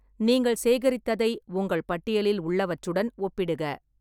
நீங்கள் சேகரித்ததை உங்கள் பட்டியலில் உள்ளவற்றுடன் ஒப்பிடுக.